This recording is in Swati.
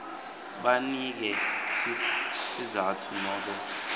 banike sizatfu nobe